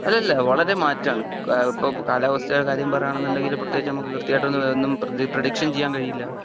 അല്ലാ അല്ലാ വളരെ മാറ്റം ആണ് ഇപ്പോൾ കാലാവസ്ഥയുടെ കാര്യം പറയുകയാണ് എന്നുണ്ടെങ്കിൽ പ്രത്യേകിച്ച് നമ്മക്ക് കൃത്യമായിട്ട് ഒന്നും പറേഡിക്ഷൻ ചെയ്യാൻ കഴിയില്ല.